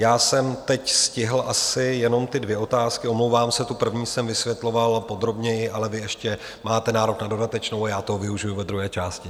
Já jsem teď stihl asi jenom ty dvě otázky, omlouvám se, tu první jsem vysvětloval podrobněji, ale vy ještě máte nárok na dodatečnou a já toho využiji ve druhé části.